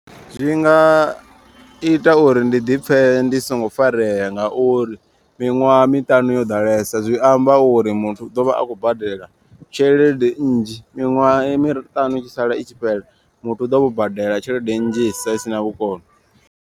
Zwinga ita uri ndi ḓipfhe ndi songo farea ngauri miṅwaha miṱanu yo ḓalesa. Zwi amba uri muthu u ḓo vha a khou badela tshelede nnzhi miṅwaha miṱanu i tshi sala i tshi fhela. Muthu u ḓo vha o badela tshelede nnzhisa isina vhukono.